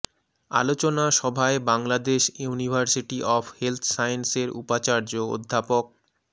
আলোচনা সভায় Bangladesh University of Health Science এর উপাচার্য অধ্যাপক ড